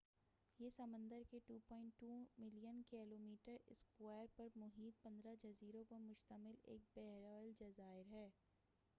یہ سمندر کے 2.2 ملین کیلو میٹر اسکوائر پر محیط 15 جزیروں پر مشتمل ایک بَحرُالجَزائر ہے